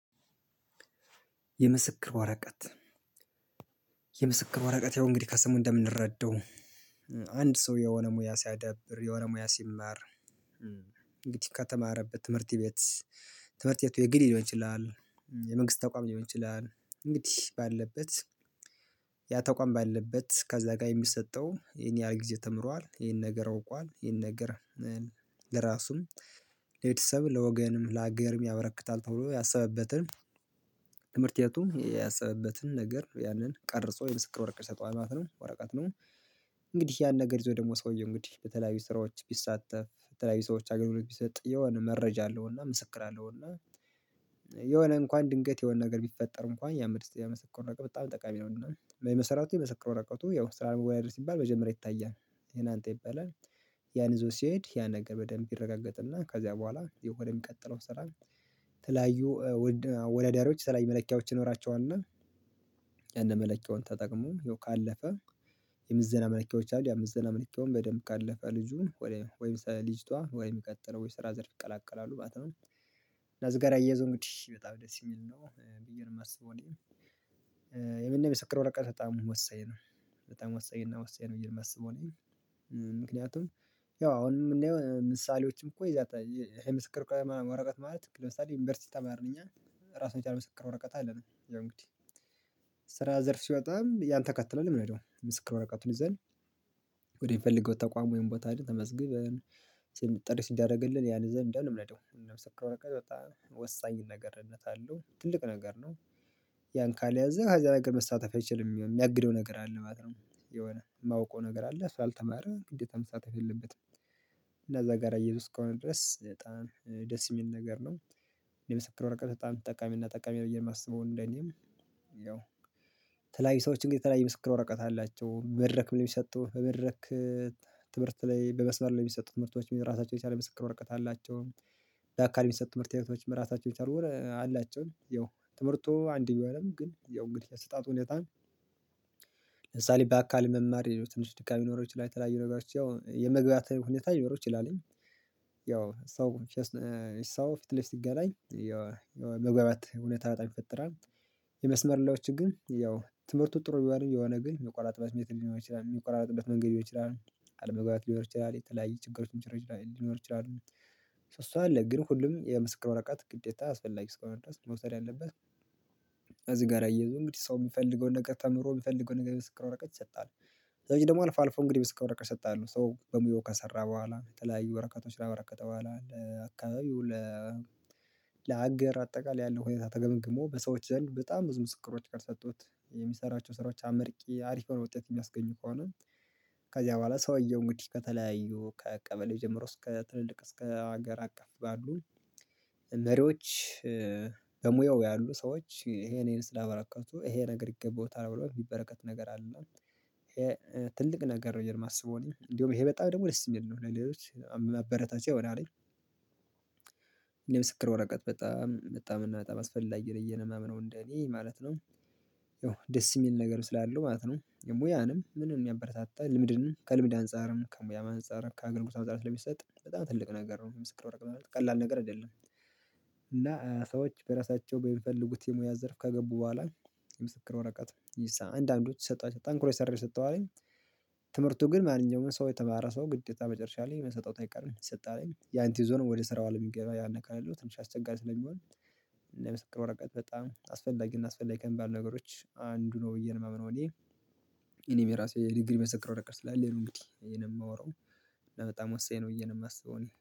የምስክር ወረቀት። የምስክር ወረቀት ያው እንግዲህ ከስሙ እንደምንረዳው አንድ ሰው የሆነ ሙያ ሲያዳብር የሆነ ሙያ ሲማር። እንግዲህ ከተማረበት ትምህርት ቤት ትምህርት ቤቱ የግል ሊሆን ይችላል የመንግስት ተቋም ሊሆን ይችላል እንግዲህ ባለበት ያ ተቋም ባለበት ከዛ ጋር የሚሰጠው ይሄን ያህል ጊዜ ተምሯል ይሄን ነገር አውቋል ይሄን ነገር ለራሱም ለቤተሰብ ለወገንም ለሀገርም ያበረክታል ተብሎ ያሰበበትን ትምህርቴቱ ያሰበበትን ነገር ያንን ቀርጾ የምስክር ወረቀት ይሰጠዋል ማለት ነው ወረቀት ነው። እንግዲህ ያን ነገር ይዞ ደግሞ ሰውዬ እንግዲህ በተለያዩ ስራዎች ቢሳተፍ በተለያዩ ሰዎች አገልግሎት ሁለት ቢሰጥ የሆነ መረጃ አለውና ምስክር አለውና የሆነ እንኳን ድንገት የሆነ ነገር ቢፈጠር እንኳን ያ ምስክር ወረቀት በጣም ጠቃሚ ነው። እና በመሰረቱ የምስክር ወረቀቱ ያው ስራ መወያየት ሲባል መጀመሪያ ይታያል ይሄን አንተ ይባላል ያን ይዞ ሲሄድ ያን ነገር በደንብ ይረጋገጥና ከዚያ በኋላ ወደ ሚቀጥለው ስራ ተለያዩ አወዳዳሪዎች የተለያዩ መለኪያዎች ይኖራቸዋልና ያንን መለኪያውን ተጠቅሞ ካለፈ የምዝና መለኪያዎች አሉ ያ ምዝና መለኪያውን በደንብ ካለፈ ልጁ ወይም ልጅቷ ወይም የሚቀጥለው ወይም ስራ ዘርፍ ይቀላቀላሉ ማለት ነው። ያው ከዚህ ጋር አያይዞ እንግዲህ በጣም ደስ የሚል ነው ብዬ ነው የማስበው እኔ የምስክር ወረቀት በጣም ወሳኝ ነው። በጣም ወሳኝ እና ወሳኝ ነው ብየ የማስበው እኔ ምክንያቱም ያው አሁንም የምናየው ምሳሌዎችም የምስክር ወረቀት ማለት ለምሳሌ ዩኒቨርሲቲ ተማርን እኛ ታሱን የቻለ ምሰከር ወረቀት አለን ያው እንግዲህ ስራ ዘርፍ ሲወጣም ያን ተከትለን ነው የምንሄደው ምስክር ወረቀቱን ይዘን ተቋም ወይም ቦታ ሂደን ተመዝግበን ጥሪ ሲደረግልን ያን ይዘን ነው የምንሄደው እና የምስክር ወረቀት በጣም ወሳኝነት አለው ትልቅ ነገር ነው። ያን ካልያዘ ከዛ ነገር መሳተፍ አይችልም የሚያግደው ነገር አለ ማለት ነው የሆነ የማውቀው ነገር አለ እሱ አልተማረ ግዴታ መሳተፍ የለበትም። እና ከዛ ጋር አያይዞት እስከሆነ ድረስ በጣም ደስ የሚል ነገር ነው። የምስክር ወረቀት በጣም ጠቃሚ እና ጠቃሚ ነው የማስበው እንደኔም ያው ተለያዩ ሰዎች እንግዲህ ተለያዩ ምስክር ወረቀት አላቸው በመድረክ ምን የሚሰጡ በመድረክ ትምህርት ላይ በመስበር ላይ የሚሰጡት ትምህርቶችም የራሳቸው የቻለ ምስክር ወረቀት አላቸው። በአካል የሚሰጡት ትምህርት አይነቶች መራታቸው ይቻላል የሆነ አላቸው ያው ትምህርቱ አንድ ቢሆንም ግን ያው እንግዲህ የአሰጣጡ ሁኔታ ለምሳሌ በአካል መማር ትንሽ ድካም ሊኖረው ይችላይ የተላይ ነገሮች ያው የመግባባት ሁኔታ ሊኖረው ይችላልኝ ያው ሰው ሰው ፊት ለፊት ሲገናኝ መግባባት እውነታ በጣም ይፈጥራል። የመስመር ህላዎች ግን ያው ትምህርቱ ጥሩ ቢሆንም የሆነ ግን የሚቆራጥበት ሜትድ ሊሆን ይችላል የሚቆራጥበት መንገድ ሊሆን ይችላል አለመግባት ሊኖር ይችላል የተለያየ ችግሮችን ሊኖር ይችላል ሶ እሱ አለ ግን ሁሉም የምስክር ወረቀት ግዴታ አስፈላጊ እስከሆነ ድረስ መውሰድ ያለበት እዚህ ጋር አያይዞም እንግዲህ ሰው የምፈልገውን ነገር ተምሮ የምፈልገውን ነገር የምስክር ወረቀት ይሰጣል። ከዛ ደግሞ አልፎ አልፎ እንግዲህ የምስክር ወረቀት ይሰጣሉ ሶ በሙያው ከሰራ በኋላ የተለያዩ ወረቀቶች ካበረከተ በኋላ ለአካባቢው ለሀገር አጠቃላይ ያለው ሁኔታ ተገምግሞ በሰዎች ዘንድ በጣም ምስክሮች ካልሰጡት የሚሰራቸው ስራዎች አመርቂ አሪፍ የሆነ ውጤትን የሚያስገኙ ከሆነ ከዚያ በኋላ ሰው አየው እንግዲህ ከተለያዩ ከቀበሌው ጀምሮ እስከ ትልልቅ እስከ ሀገር አቀፍ ባሉ መሪዎች በሙያው ያሉ ሰዎች ይሄንን ስላበራከቱ ይሄ ነገር ይገባዋታል ብሎ የሚበረከት ነገር አለ ትልቅ ነገር ነው የማስበው እኔ እንደውም ይሄ በጣም ደግሞ ደስ የሚል ነው ለሌሎች ማበረታቻ ይሆናል። የምስክር ወረቀት በጣም በጣምና በጣም አስፈላጊ ነው እየነማመነው እንደኔ ማለት ነው ያው የሚል ነገር ስላለው ማለት ነው የሙያንም ምንም የሚያበረታታ ልምድንም ከልምድ አንፃርም ከሙያም አንፃርም ከአገልግሎት አንፃርም ስለሚሰጥ በጣም ትልቅ ነገር ነው የምስክር ወረቀት ቀላል ነገር አይደለም። እና ሰዎች በራሳቸው በሚፈልጉት የሙያ ዘርፍ ከገቡ በኋላ የምስክር ወረቀት አንዳንዶች ጠንክሮ የሰራው ይሰጠዋልኝ ትምህርቱ ግን ማንኛውም ሰው የተማረ ሰው ግዴታ መጨረሻ ላይ መሰጠቱ ጠንካራ አይቀርም ይሰጣልኝ ያን ይዞ ነው ወደ ስራው አለም የሚገባ ያን ካለው ትንሽ አስቸጋሪ ስለሚሆን እና የምስክር ወረቀት በጣም አስፈላጊ እና አስፈላጊ ከምባሉ ነገሮች አንዱ ነው ብዬ ነው የማምነው እኔ። እኔም የራሴ ሪግሪ ምስክር ወረቀት ስላለኝ ነው እንግዲህ ይሄን የማወራው በጣም ወሳኝ ነው የምመስለው